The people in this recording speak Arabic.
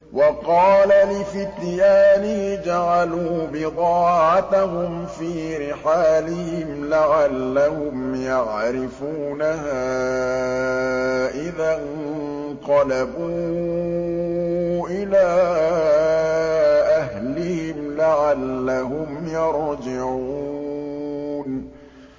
وَقَالَ لِفِتْيَانِهِ اجْعَلُوا بِضَاعَتَهُمْ فِي رِحَالِهِمْ لَعَلَّهُمْ يَعْرِفُونَهَا إِذَا انقَلَبُوا إِلَىٰ أَهْلِهِمْ لَعَلَّهُمْ يَرْجِعُونَ